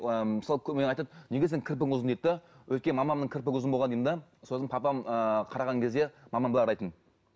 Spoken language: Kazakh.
ыыы мысалы айтады неге сенің кірпігің ұзын дейді де өйткені мамамның кірпігі ұзын болған деймін де сосын папам ыыы қараған кезде мамам былай қарайтын